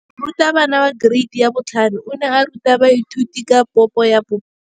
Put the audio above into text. Moratabana wa kereiti ya 5 o ne a ruta baithuti ka popô ya polelô.